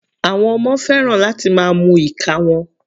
Àwọn ọmọ fẹ́ràn láti máa mu ìka wọn.